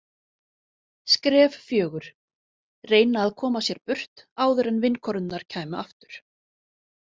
Skref fjögur: Reyna að koma sér burt áður en vinkonurnar kæmu aftur.